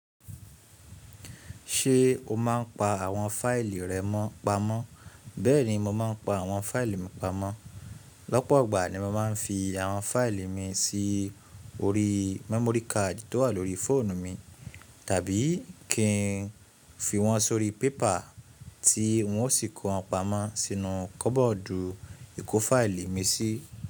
Ṣé o máa ń pa àwọn fáìlì rẹ mọ́ pamọ́? Bẹ́ẹ̀ni mo máa ń pa àwọn fáìlì mi pamọ́. Lọ́pọ̀ ọgbà ni mo máa ń fi àwọn fáìlì mi sí orí memory card tó wà lórí fóònù mi tàbí kí n fi wọ́n sórí pépà tí wọ́n ó sì kó wọn pamọ́ sínú kọ́bọ́ọ̀dù ìkó fáìlì mi sí.